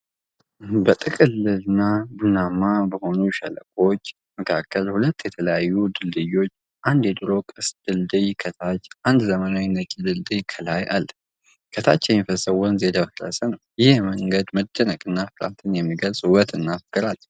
በጥልቅና ቡናማ በሆኑ ሸለቆዎች መካከል ሁለት የተለያዩ ድልድዮች፣ አንድ የድሮ ቅስት ድልድይ ከታች፣ አንድ ዘመናዊ ነጭ ድልድይ ከላይ አለ። ከታች የሚፈሰው ወንዝ የደፈረሰ ነው። ይህ የመንገድ መደነቅንና ፍርሃትን የሚገልጽ ውበትና ፍቅር አለው።